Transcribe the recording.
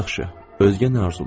özgə nə arzu eləyim?